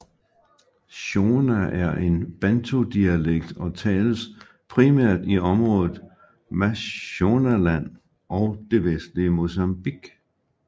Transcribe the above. Shona er en bantu dialekt og tales primært i området Mashonaland og det vestlige Mozambique